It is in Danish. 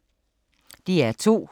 DR2